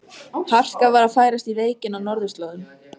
Harka var að færast í leikinn á norðurslóðum.